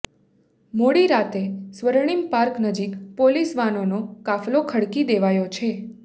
મોડી રાતે સ્વર્ણિમ પાર્ક નજીક પોલીસ વાનોનો કાફલો ખડકી દેવાયો છે